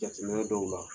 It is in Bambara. Jateminɛ dɔw la